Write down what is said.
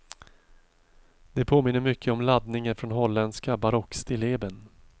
Det påminner mycket om laddningen från holländska barockstilleben.